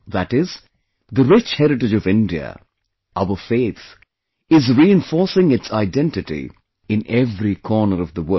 That is, the rich heritage of India, our faith, is reinforcing its identity in every corner of the world